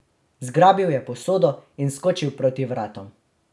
Zgrabil je posodo in skočil proti vratom.